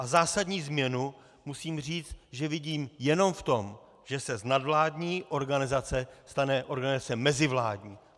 A zásadní změnu musím říct, že vidím jenom v tom, že se z nadvládní organizace stane organizace mezivládní.